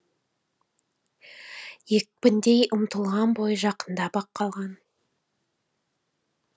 екпіндей ұмтылған бойы жақындап ақ қалған